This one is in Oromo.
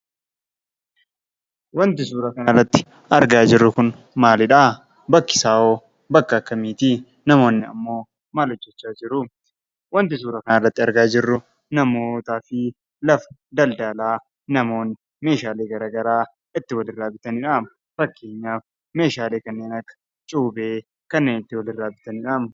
Wanti suuraa kanarratti argaa jirru kun maaliidha? bakki isahoo bakka akkamiti? namoonni ammoo maal hojjechaa jiru? wanti argaa jirru namootaa fi lafa daldala, namoonni garagaraa itti waliirra bitanidha. fakkeenyaaf, meeshaalee kanneen, akka cuubee, kanneen itti waliirra bitanidham.